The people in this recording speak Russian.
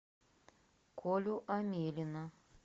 колю амелина